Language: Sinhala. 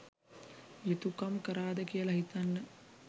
යුතුකම් කරාද කියල හිතන්න.